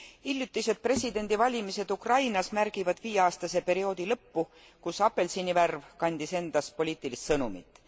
Hiljutised presidendivalimised Ukrainas märgivad viieaastase perioodi lõppu, kus apelsinivärv kandis endas poliitilist sõnumit.